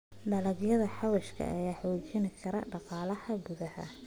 Dalagyada xawaashka ayaa xoojin kara dhaqaalaha gudaha.